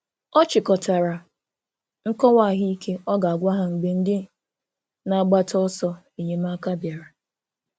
Ọ chịkọtara nkọwa ahụ ike ọ ga - agwa ha mgbe ndị na - agbata ọsọ enyemaka bịara